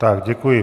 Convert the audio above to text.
Tak děkuji.